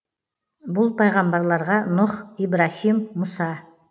бұл пайғамбарларға нұх ибраһим мұса